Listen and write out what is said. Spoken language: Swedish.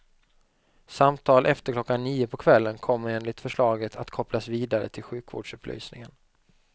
Samtal efter klockan nio på kvällen, kommer enligt förslaget, att kopplas vidare till sjukvårdsupplysningen.